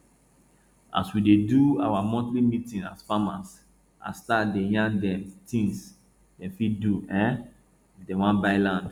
as we dey do our our monthly meeting as farmers i start dey yarn dem things dem fit do um if dem wan buy land